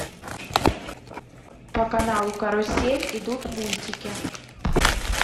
по каналу карусель идут мультики